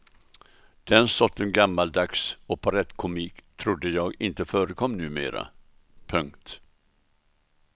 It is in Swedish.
Den sortens gammaldags operettkomik trodde jag inte förekom numera. punkt